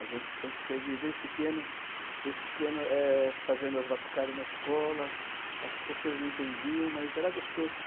A gente sempre teve, desde pequeno, desde pequeno, eh, fazendo as batucadas na escola, as professoras não entendiam, mas era gostoso.